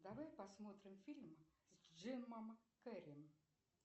давай посмотрим фильм с джемом керри